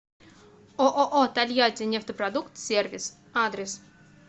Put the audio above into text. ооо тольяттинефтепродукт сервис адрес